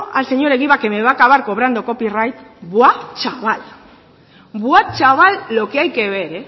al señor egibar que me va a acabar cobrando copyright buah chaval buah chaval lo que hay que ver